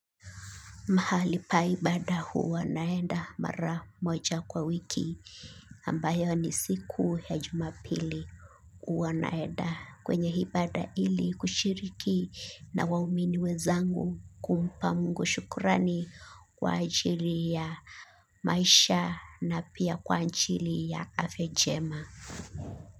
Mahali pa ibada huwa naenda mara moja kwa wiki ambapo ni siku ya Jumapili. Huwa naenda kwenye ibada ili kushiriki na waumini wenzangu kumpa mungu shukurani kwa ajili ya maisha. Na pia kwa ajili ya afya njema.